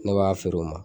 Ne b'a feere o ma